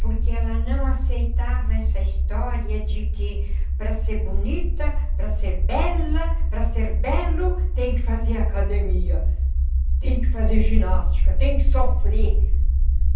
Porque ela não aceitava essa história de que para ser bonita, para ser bela, para ser belo, tem que fazer academia, tem que fazer ginástica, tem que sofrer.